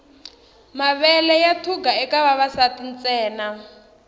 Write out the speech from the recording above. mavele ya thuga eka vavasati ntsena